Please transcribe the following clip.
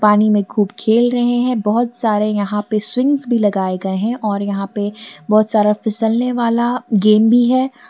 पानी में खूब खेल रहे हैं बहुत सारे यहां पे स्विंगस भी लगाए गए हैं और यहां पे बहुत सारा फिसलने वाला गेम भी है।